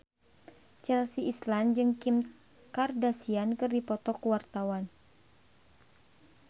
Chelsea Islan jeung Kim Kardashian keur dipoto ku wartawan